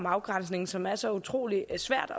afgrænsning som er så utrolig svært